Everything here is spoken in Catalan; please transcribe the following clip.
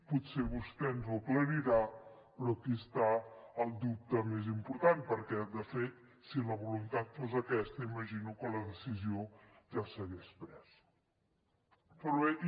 potser vostè ens ho aclarirà però aquí està el dubte més important perquè de fet si la voluntat fos aquesta imagino que la decisió ja s’hagués pres però bé